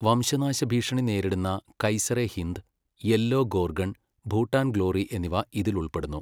വംശനാശഭീഷണി നേരിടുന്ന കൈസറെ ഹിന്ദ്, യെല്ലോ ഗോർഗൺ, ഭൂട്ടാൻ ഗ്ലോറി എന്നിവ ഇതിൽ ഉൾപ്പെടുന്നു.